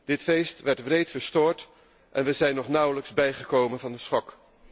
Dit feest werd wreed verstoord en we zijn nog nauwelijks bijgekomen van de schok.